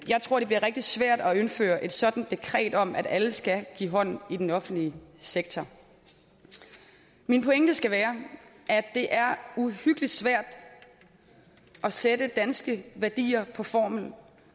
jeg tror det bliver rigtig svært at indføre et sådant dekret om at alle skal give hånd i den offentlige sektor min pointe skal være at det er uhyggelig svært at sætte danske værdier på formel